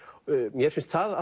mér finnst það